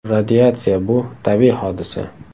Radiatsiya bu – tabiiy hodisa.